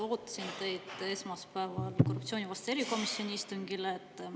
Ootasin teid esmaspäeval korruptsioonivastase erikomisjoni istungile.